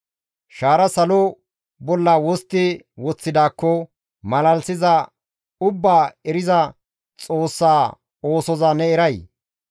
Shaara salo bolla wostti woththidaakko, malalisiza ubbaa eriza Xoossa oosoza ne eray?